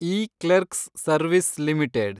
E clerks service limited